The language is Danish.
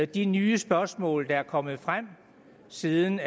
de nye spørgsmål der er kommet frem siden